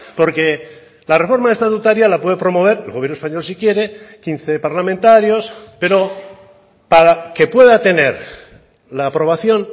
porque la reforma estatutaria la puede promover el gobierno español si quiere quince parlamentarios pero para que pueda tener la aprobación